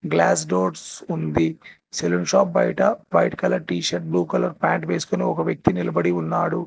Glass doors ఉంది saloon shop బయట white colour T shirt blue colour pant వేసుకొని ఒక వ్యక్తి నిలబడి ఉన్నాడు.